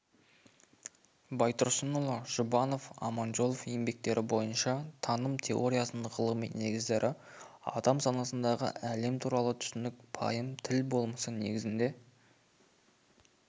байтұрсынұлы жұбанов аманжолов еңбектері бойынша таным теориясының ғылыми негіздері адам санасындағы әлем туралы түсінік пайым тіл болмысы негізінде